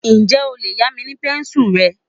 Ǹjẹ́ o lè yá mi ní pẹ́ńsùlù rẹ?